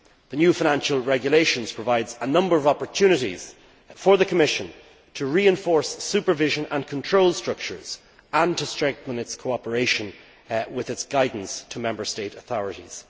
The new Financial Regulation provides a number of opportunities for the Commission to reinforce supervision and control structures and to strengthen its cooperation with its guidance to Member State authorities.